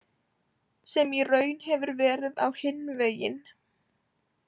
Sem í raun hefur verið á hinn veginn.